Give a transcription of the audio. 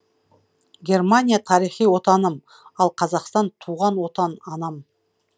германия тарихи отаным ал қазақстан туған отан анам